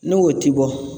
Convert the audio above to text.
N'o t'i bɔ